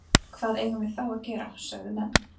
Hvað eigum við þá að gera? sögðu menn.